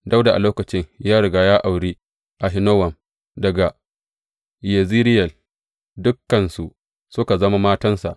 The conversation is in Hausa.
Dawuda a lokacin ya riga ya auri Ahinowam daga Yezireyel, dukansu suka zama matansa.